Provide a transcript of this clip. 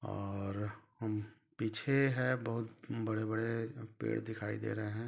और पीछे है बहुत बड़े बड़े पेड़ दिखाई दे रहे है।